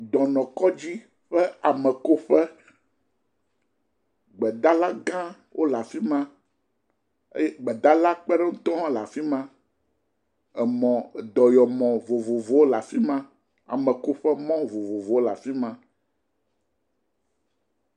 Dɔnɔkɔdzi ƒe amekoƒe, gbedalagã wole afi ma eye gbedala ƒe kpeɖeŋutɔwo hã le afi ma. Dɔyɔmɔ vovovowo le afi ma. Amekoƒemɔ vovovowo le afi ma.